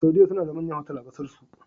Saudiya suna da manyan otal a ƙasar su